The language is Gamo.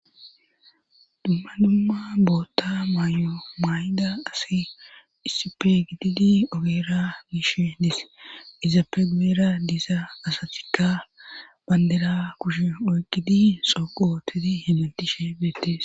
Dumma dumma bootta may7o maay7ida asi isippe gididi ogeera miishe dis izappe guera diiza asathikka bandera kushe oyqidi xooqotedi hegentishe beettes.